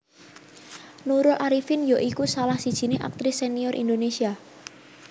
Nurul Arifin ya iku salah sijiné aktris senior Indonésia